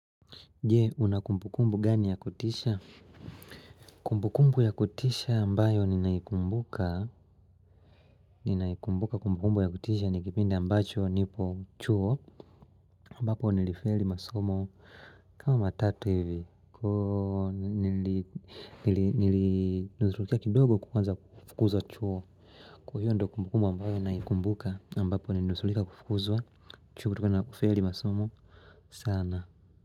Jee, una kumbukumbu gani ya kutisha? Kumbukumbu ya kutisha ambayo ninaikumbuka Kumbukumbu ya kutisha ni kipindi ambacho nipo chuo ambapo nilifeli masomo kama tatu hivi nilinusurika kidogo kuanza kufukuzwa chuo Kwa hiyo ndio kumbukumbu ambayo naikumbuka ambapo nilinusurika kufukzwa chuo nilifeli masomo sana.